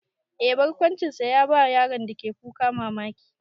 Eh, barkwancinsa ya bawa yaron da ke kuka mamaki.